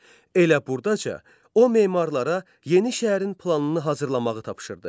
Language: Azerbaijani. Elə burdaca o memarlara yeni şəhərin planını hazırlamağı tapşırdı.